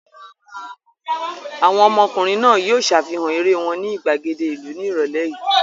Àwọn ọmọkùnrin náà yóò ṣàfihàn eré wọn ní ìgbàgede ìlú ní ìrọ́lẹ́ yìí!